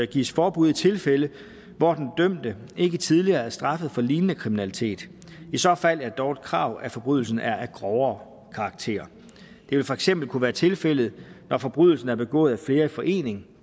gives forbud i tilfælde hvor den dømte ikke tidligere er straffet for lignende kriminalitet i så fald er det dog et krav at forbrydelsen er af grovere karakter det vil for eksempel kunne være tilfældet når forbrydelsen er begået af flere i forening